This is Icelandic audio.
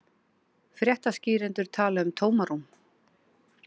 Fréttaskýrendur tala um tómarúm